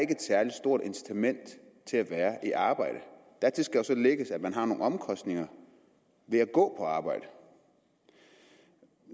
et særlig stort incitament til at være i arbejde dertil skal jo så lægges at man har nogle omkostninger ved at gå på arbejde